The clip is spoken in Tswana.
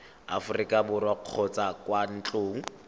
aforika borwa kgotsa kwa ntlong